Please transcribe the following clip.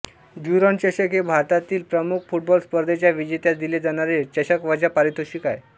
Durand चषक हे भारतातील प्रमुख फुटबॉल स्पर्धेच्या विजेत्यास दिले जाणारे चषकवजा पारितोषिक आहे